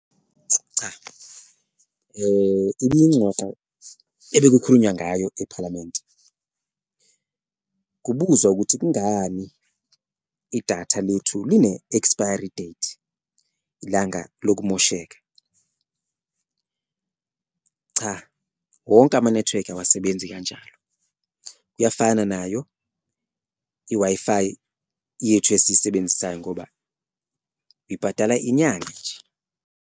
Cha, ibuyingxoxo ebekukhulunywa ngayo ephalamenti kubuzwa ukuthi kungani idatha lethu line-expiry date ilanga lokumosheka, cha wonke amanethiwekhi awasebenzi kanjalo. Kuyafana nayo i-Wi-Fi yethu esiyisebenzisayo ngoba ibhadala inyanga nje.